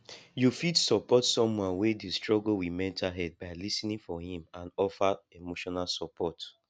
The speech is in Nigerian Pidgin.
you fit support someone wey dey struggle with mental health by lis ten ing for im and offer emotional support